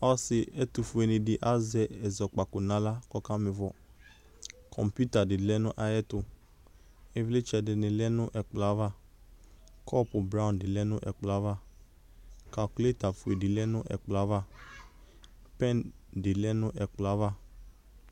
Ɔsɩ etʋfuenɩ dɩ azɛ ɛzɔkpako n'aɣla k'ɔkamɩfɔ Koŋpita dɩ lɛ nʋ ayɛtʋ , ɩvlɩtsɛ dɩnɩ lɛ nʋ ɛkplɔava, kɔpʋ blanc dɩ lɛ nʋ ɛkplɔava ; kakuiɩleta fuedɩ lɛ nʋ ɛkplɔava, pɛn dɩ lɛ nƲ ɛkplɔava